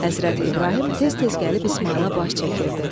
Həzrəti İbrahim tez-tez gəlib İsmayıla baş çəkirdi.